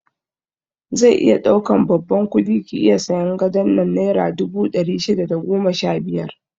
Zai iya ɗaukan babban kudi ki iya sayan gadon nan naira dubu ɗari shida da goma sha biyar